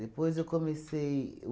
eu comecei.